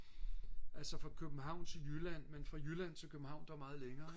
altså fra København til Jylland men fra Jylland til København der er meget længere ik